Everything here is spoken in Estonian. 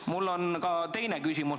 Mul on ka teine küsimus.